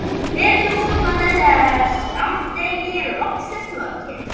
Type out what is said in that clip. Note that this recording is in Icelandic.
Fer til útlanda þegar skammdegi er loksins lokið.